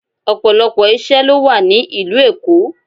Ọ̀pọ̀lọpọ̀ ìṣe ló wà ní ìlú Èkó.